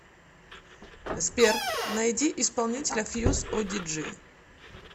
сбер найди исполнителя фьюз одиджи